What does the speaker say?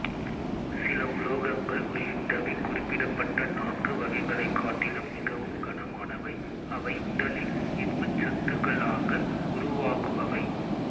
சில உலோகங்கள் உள்ளிட்டவை குறிப்பிடப்பட்ட நான்கு வகைகளைக் காட்டிலும் மிகவும் கனமானவை அவை உடலில் இரும்புச்சத்துக்களாக உருவாகுபவை